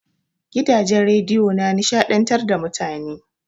Gidajen rediyo na nishaɗantar da mutane.